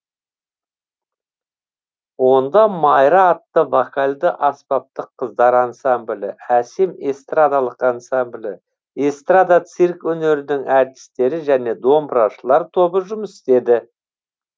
онда майра атты вокальды аспаптық қыздар ансамблі әсем эстрадалық ансамблі эстрада цирк өнерінің артистері және домбырашылар тобы жұмыс істеді